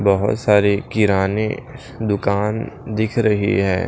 बहुत सारी किराने दुकान दिख रही है।